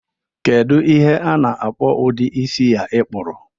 Kedu ihe ana-akpọ ụdi isi a i kpuru?